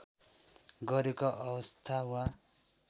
गरेको अवस्था वा